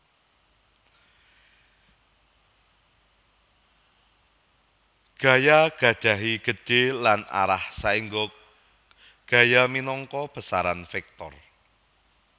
Gaya gadhahi gedhe lan arah saèngga gaya minangka besaran vektor